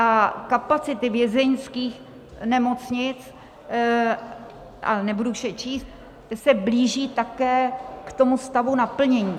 A kapacity vězeňských nemocnic, nebudu už je číst, se blíží také k tomu stavu naplnění.